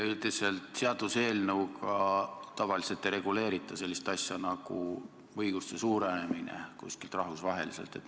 Üldiselt seaduseelnõuga ei reguleerita sellist asja nagu õiguste suurenemine rahvusvaheliselt.